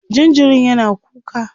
jinjirin yana kuka